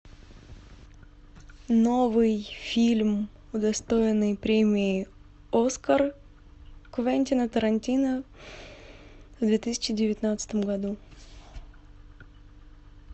новый фильм удостоенный премии оскар квентина тарантино в две тысячи девятнадцатом году